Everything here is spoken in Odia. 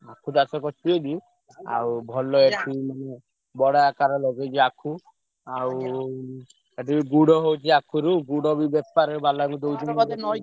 ଆଖୁ ଚାଷ କରିଛି ଯଦି ଆଉ ଭଲ ଏଠି ମାନେ ବଡ ଆକାରେ ଲଗେଇଛି ଆଖୁ ଆଉ ଏଠି ବି ଗୁଡ ହଉଛି ଆଖୁରୁ ଗୁଡ ବି ବେପାର ହେବା ଲାଗି ଦଉଛୁ ।